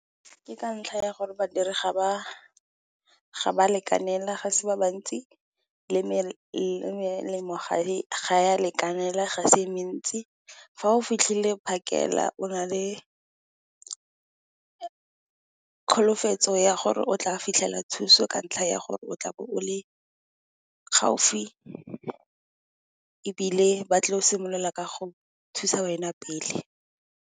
Ke ka ntlha ya gore badiri ga ba lekanela, ga se ba bantsi le melemo ga ya lekanela, ga se e mentsi. Fa o fitlhile phakela o na le tsholofelo ya gore o tla fitlhelela thuso ka ntlha, ya gore o tla bo o le gaufi ebile, ba tla simolola ka go thusa wena pele.